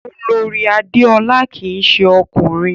Olorì Adéọlá kìí se ọkùnrin